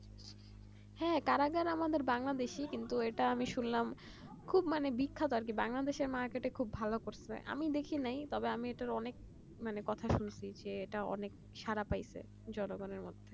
হ্যাঁ কারা কারা আমাদের বাংলাদেশী কিন্তু এটা আমি শুনলাম খুব মানে বিখ্যাত আর কি বাংলাদেশী market এ খুব ভালো করছে আমি দেখি নাই তবে আমি এটার অনেক কথা শুনছি যেটা অনেক ছাড়া পাইছে জনগণের মধ্যে